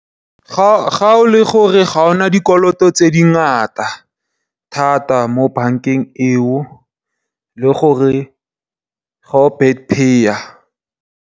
Ga e le gore ga o na dikoloto tse dingata thata mo bankeng eo, le gore ga o bad payer.